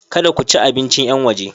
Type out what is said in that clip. Kada ku ci abincin yan waje!